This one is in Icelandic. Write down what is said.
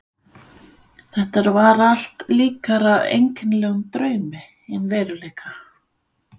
Þetta var allt líkara einkennilegum draumi en veruleika.